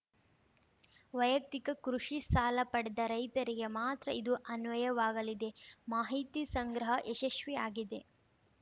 ವೈಯಕ್ತಿಕ ಕೃಷಿ ಸಾಲ ಪಡೆದ ರೈತರಿಗೆ ಮಾತ್ರ ಇದು ಅನ್ವಯವಾಗಲಿದೆ ಮಾಹಿತಿ ಸಂಗ್ರಹ ಯಶಸ್ವಿಯಾಗಿದೆ